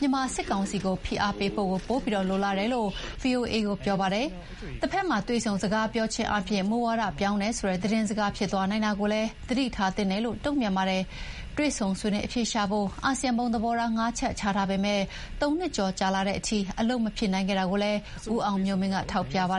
မြန်မာစစ်ကောင်စီကို ဖိအားပေးဖို့ကို ပိုပြီးလိုလားတယ်လို့ ဗွီအိုအေကို ပြောပါတယ်။ တဘက်မှာ တွေ့ဆုံစကားပြောခြင်းအားဖြင့် မူဝါဒပြောင်းတယ်ဆိုတဲ့ သတင်းစကားဖြစ်သွားနိုင်တာကိုလည်း သတိထားသင့်တယ်လို့ တုံ့ပြန်ပါတယ်။ တွေ့ဆုံဆွေးနွေးအဖြေရှာဖို့ အာဆီယံ ဘုံသဘောထားငါးချက်ချထားပေမယ့် သုံးနှစ်ကျော် ကြာလာတဲ့အထိ အလုပ်မဖြစ်နိုင်ခဲ့တာကိုလည်း ဦးအောင်မျိုးမင်းက ထောက်ပြပါ